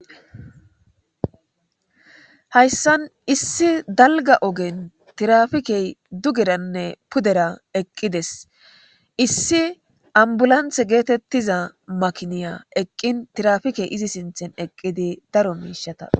hayssan issi dalga ogen tirafikey dugeranne pudera eqqides issi ambulanthe geetettiza makiniya eqqin tirafikey izi sinthen eqqidi daro miishata